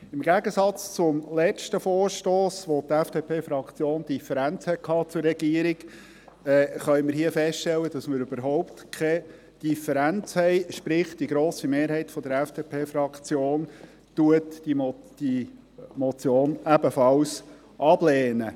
Im Gegensatz zum letzten Vorstoss, bei dem die FDP-Fraktion eine Differenz zur Regierung hatte, können wir hier feststellen, dass wir überhaupt keine Differenz haben, sprich: Die grosse Mehrheit der FDP-Fraktion lehnt diese Motion ebenfalls ab.